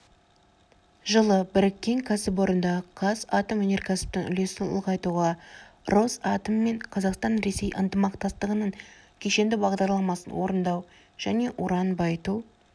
жылы біріккен кәсіпорындағы қазатомөнеркәсіптің үлесін ұлғайтуға росатоммен қазақстан-ресей ынтымақтастығының кешенді бағдарламасын орындау және уран байыту